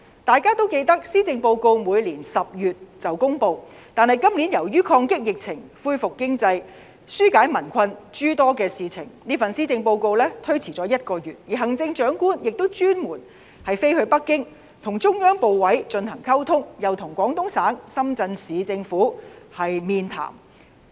大家都記得施政報告每年10月便會公布，但今年由於抗擊疫情、恢復經濟和紓解民困等諸多事情，這份施政報告推遲了1個月公布，而行政長官亦特地前往北京與中央部委進行溝通，又與廣東省深圳市政府面談。